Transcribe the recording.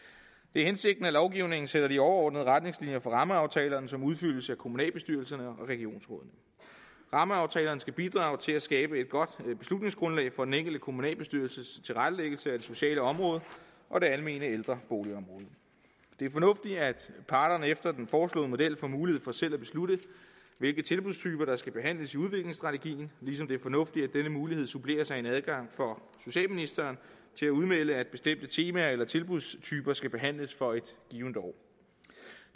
det er hensigten at lovgivningen sætter de overordnede retningslinjer for rammeaftalerne som udfyldes af kommunalbestyrelserne og regionsrådene rammeaftalerne skal bidrage til at skabe et godt beslutningsgrundlag for den enkelte kommunalbestyrelses tilrettelæggelse af det sociale område og det almene ældreboligområde det er fornuftigt at parterne efter den foreslåede model får mulighed for selv at beslutte hvilke tilbudstyper der skal behandles i udviklingsstrategien ligesom det er fornuftigt at denne mulighed suppleres med en adgang for socialministeren til at udmelde at bestemte temaer eller tilbudstyper skal behandles for et givent år